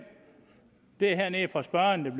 det er nede fra spørgeren